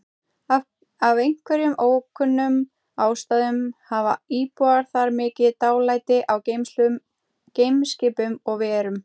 Af einhverjum ókunnum ástæðum hafa íbúar þar mikið dálæti á geimskipum og-verum.